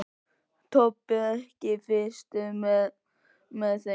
Tobbi, ekki fórstu með þeim?